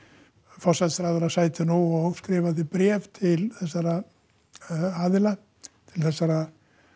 forsætisráðherra sæti nú og skrifaði bréf til þessara aðila þessara